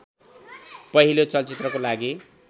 पहिलो चलचित्रको लागि